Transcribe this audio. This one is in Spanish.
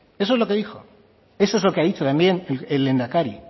eso es lo que dijo eso es lo que ha dicho también el lehendakari